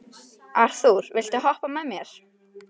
Arthúr, viltu hoppa með mér?